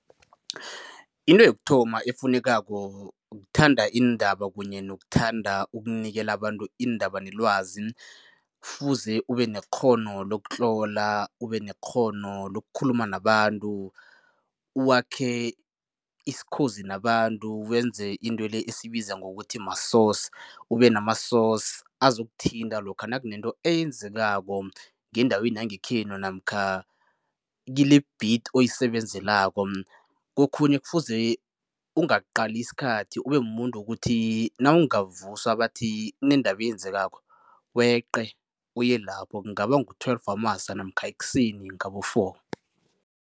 Into yokuthoma efunekako kuthanda iindaba kunye nokuthanda ukunikela abantu iindaba nelwazi. Kufuze ube nekghono lokutlola, ube nekghono lokukhuluma nabantu, wakhe isikhozi nabantu, wenze into le esiyibiza ngokuthi ma-source. Ube nama-source azokuthinta lokha nakunento eyenzekako ngendaweni yangekhenu namkha kile-beat oyisebenzelako. Kokhunye kufuze ungaqali isikhathi, ube mumuntu wokuthi nawungavuswa bathi kunendaba eyenzekako weqe, uye lapho, kungaba ngu-twelve wamasa namkha ekuseni ngabo four.